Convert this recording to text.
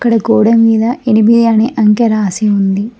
ఆ గోడల మీద ఎనిమిది అంఖ్య అని రాసి ఉన్నది.